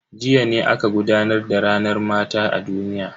Jiya ne aka gudanar da ranar mata ta duniya.